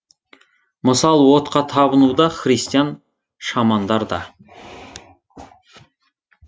мысалы отқа табыну да христиан шамандар да